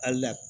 Hali